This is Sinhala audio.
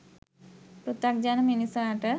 පෘථග්ජන මිනිසාට